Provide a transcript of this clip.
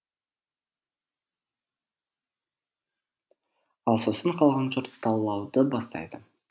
ал сосын қалған жұрт талауды бастайды